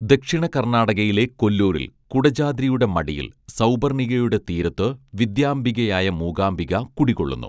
ദക്ഷിണകർണ്ണാടകയിലെ കൊല്ലൂരിൽ കുടജാദ്രിയുടെ മടിയിൽ സൗപർണ്ണികയുടെ തീരത്ത് വിദ്യാംബികയായ മൂകാംബിക കുടികൊള്ളുന്നു